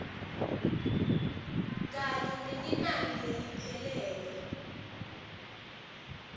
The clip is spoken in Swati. kanye nelinani leliphelele